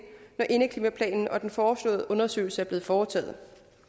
når indeklimaplanen og den foreslåede undersøgelse er blevet foretaget